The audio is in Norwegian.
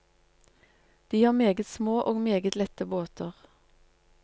De har meget små og meget lette båter.